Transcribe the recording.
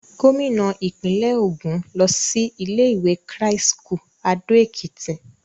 Gómìnà ìpínlẹ̀ Ògùn lọ sí ilé-ìwé Christ's School Ado Ekiti.